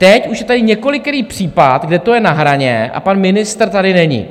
Teď už je tady několikerý případ, kde to je na hraně, a pan ministr tady není.